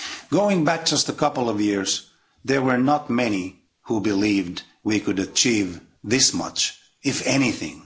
Going back just a couple of years, there were not many who believed we could achieve this much, if anything.